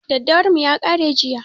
Daddawar mu ya ƙare jiya